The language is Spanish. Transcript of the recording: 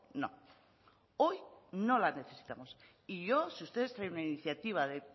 no hoy no la necesitamos y yo si ustedes traen una iniciativa de